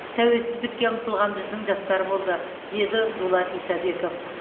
тәуелсіздікке ұмтылған біздің жастар болды деді дулат исабеков